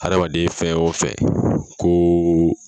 Hadamaden fɛn o fɛn ko